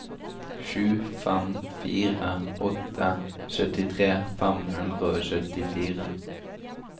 sju fem fire åtte syttitre fem hundre og syttifire